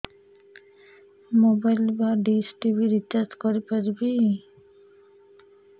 mobile ବା dish TV recharge କରି ପାରିବି